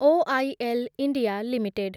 OIL India limited